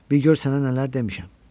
Bil gör sənə nələr demişəm?